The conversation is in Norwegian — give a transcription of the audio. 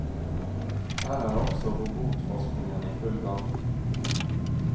Her er også robotforskningen i full gang.